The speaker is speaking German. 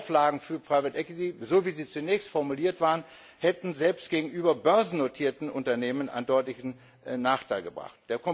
Die Auflagen für private equity wie sie zunächst formuliert waren, hätten selbst gegenüber börsennotierten Unternehmen einen deutlichen Nachteil gebracht.